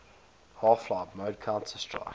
half life mod counter strike